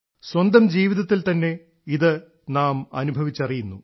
സ്വന്തം ജീവിതത്തിൽ തന്നെ ഇത് നാം അനുഭവിച്ചറിയുന്നു